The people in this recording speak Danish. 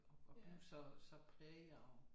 At at blive så så præget af